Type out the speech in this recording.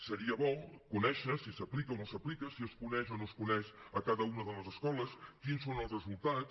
seria bo conèixer si s’aplica o no s’aplica si es coneix o no es coneix a cada una de les escoles quins són els resultats